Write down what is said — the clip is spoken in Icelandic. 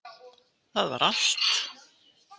Það var allt.